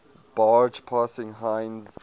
barge passing heinz